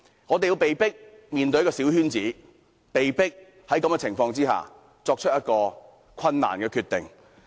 我們被迫面對小圈子選舉，也被迫作出困難的決定。